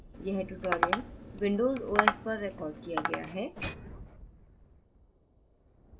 यह tutorial windows os पर recorded किया गया है